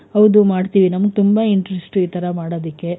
ಹೌದು ಮಾಡ್ತೀವಿ ನಮ್ಗ್ ತುಂಬಾ interest ಈ ತರ ಮಾಡೊದಕೆ.